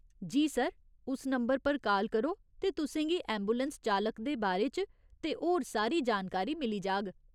जी, sir, उस number पर call करो ते तुसें गी ऐंबुलैंस चालक दे बारे च ते होर सारी जानकारी मिली जाह्ग।